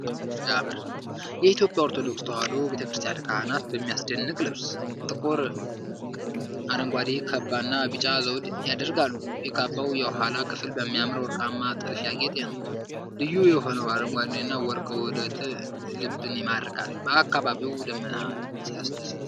ዋው ሲያምር! የኢትዮጵያ ኦርቶዶክስ ተዋህዶ ቤተክርስቲያን ካህናት በሚያስደንቅ ልብስ። ጥቁር አረንጓዴ ካባና ቢጫ ዘውድ ያደርጋሉ። የካባው የኋላ ክፍል በሚያምር ወርቃማ ጥልፍ ያጌጠ ነው። ልዩ የሆነው አረንጓዴና ወርቅ ውህደት ልብን ይማርካል። በአካባቢው ቀስተ ደመና ሲያስደስት!